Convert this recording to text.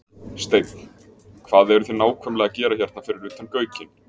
Steinn, hvað eruð þið nákvæmlega að gera hérna fyrir utan Gaukinn?